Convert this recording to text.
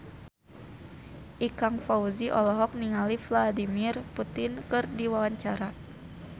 Ikang Fawzi olohok ningali Vladimir Putin keur diwawancara